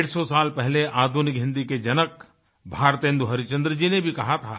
डेढ़सौ साल पहले आधुनिक हिंदी के जनक भारतेंदु हरीशचंद्र जी ने भी कहा था